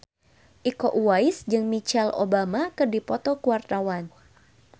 Iko Uwais jeung Michelle Obama keur dipoto ku wartawan